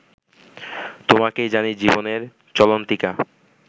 তোমাকেই জানি জীবনের চলন্তিকা